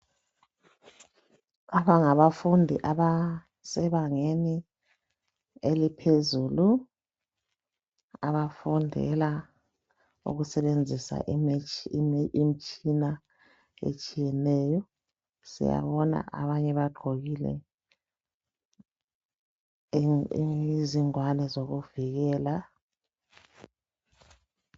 laba ngabafundi abasebangeni eliphezulu abafundela ukusebenzisa imitshina etshiyeneyo siyabona abanye bagqokile izingwane zokuvikela